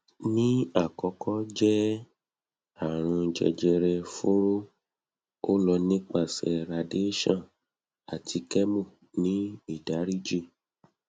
ni akọkọ jẹ arun jejere furo o lọ nipasẹ radiation ati chemo ati ni idariji